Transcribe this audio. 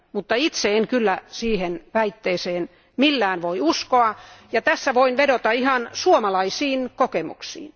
Mutta itse en kyllä siihen väitteeseen millään voi uskoa, ja tässä voin vedota ihan suomalaisiin kokemuksiin.